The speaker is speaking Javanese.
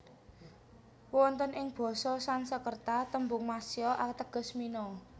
Wonten ing basa Sangskreta tembung matsya ateges mina